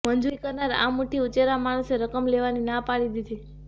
મજૂરી કરનાર આ મુઠ્ઠી ઉંચેરા માણસે રકમ લેવાની ના પાડી દીધી